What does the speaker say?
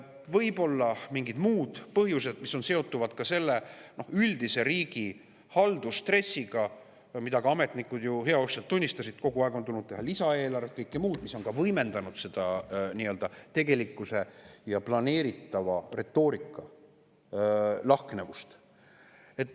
Võivad olla ka mingid muud põhjused, mis seonduvad selle üldise riigi haldusstressiga, mida ka ametnikud ju heauskselt tunnistasid – kogu aeg on tulnud teha lisaeelarvet ja kõike muud, mis on võimendanud seda nii-öelda tegelikkuse ja planeeritava retoorika lahknevust.